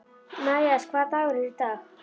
Mías, hvaða dagur er í dag?